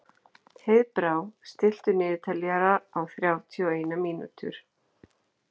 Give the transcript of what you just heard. Heiðbrá, stilltu niðurteljara á þrjátíu og eina mínútur.